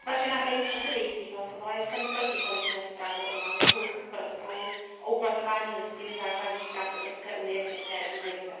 Vážená paní předsedající, hlasovala jsem proti konečné zprávě o návrhu protokolu o uplatňování Listiny základních práv Evropské unie v České republice.